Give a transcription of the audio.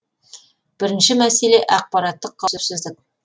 бірінші мәселе ақпараттық қауіпсіздік